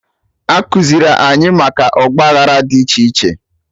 Ekuziri anyị maka Ọgba aghara dị iche iche